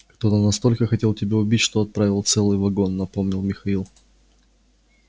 кто-то настолько хотел тебя убить что отправил целый вагон напомнил михаил